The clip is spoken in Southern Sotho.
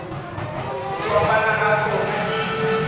ho fapana ha tsona di